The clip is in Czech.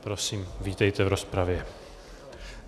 Prosím, vítejte v rozpravě.